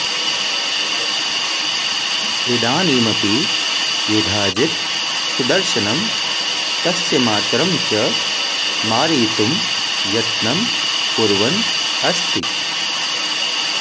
इदानीमपि युधाजित् सुदर्शनं तस्य मातरं च मारयितुं यत्नं कुर्वन् अस्ति